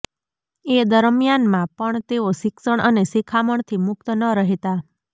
એ દરમ્યાનમાં પણ તેઓ શિક્ષણ અને શિખામણથીમુક્ત ન રહેતા